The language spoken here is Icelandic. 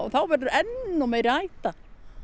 þá verður enn meiri hætta